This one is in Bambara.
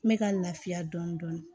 N bɛ ka lafiya dɔɔnin dɔɔnin